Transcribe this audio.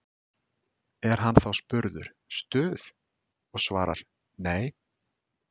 Er hann þá spurður Stuð? og svarar: Nei.